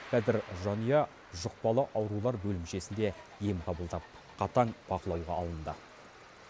қазір жанұя жұқпалы аурулар бөлімшесінде ем қабылдап қатаң бақылауға алынды